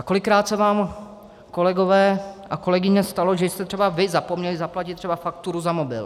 A kolikrát se vám, kolegové a kolegyně, stalo, že jste třeba vy zapomněli zaplatit třeba fakturu za mobil.